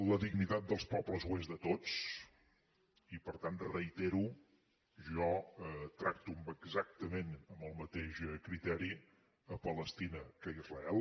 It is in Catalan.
la dignitat dels pobles ho és de tots i per tant ho reitero jo tracto exactament amb el mateix criteri palestina que israel